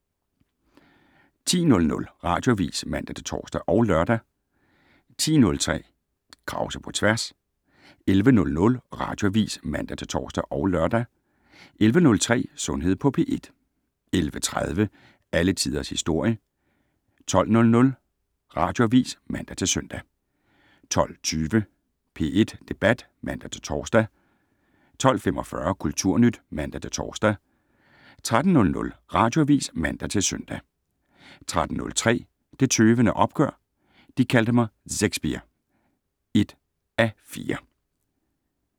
10:00: Radioavis (man-tor og lør) 10:03: Krause på tværs 11:00: Radioavis (man-tor og lør) 11:03: Sundhed på P1 11:30: Alle Tiders Historie 12:00: Radioavis (man-søn) 12:20: P1 Debat (man-tor) 12:45: Kulturnyt (man-tor) 13:00: Radioavis (man-søn) 13:03: Det Tøvende Opgør: De kaldte mig Szekspir (1:4)